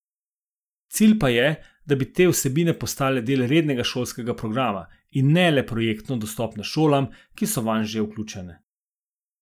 Cilj pa je, da bi te vsebine postale del rednega šolskega programa in ne le projektno dostopne šolam, ki so vanj že vključene.